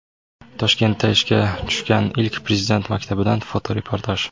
Toshkentda ishga tushgan ilk Prezident maktabidan fotoreportaj.